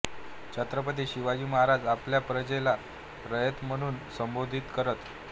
छत्रपती शिवाजी महाराज आपल्या प्रजेला रयत म्हणून संबोधित करत